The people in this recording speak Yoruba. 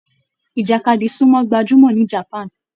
Ìjàkadì sumo gbájúmọ́ ni japan.